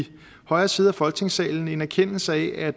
højre side af folketingssalen en erkendelse af at